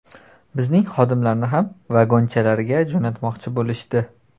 Bizning xodimlarni ham ‘vagonchalar’ga jo‘natmoqchi bo‘lishdi.